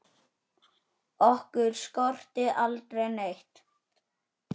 Okkur skorti aldrei neitt.